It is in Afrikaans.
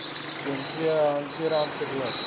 teen tweedehandse rook